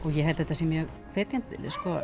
ég held að þetta sé mjög hvetjandi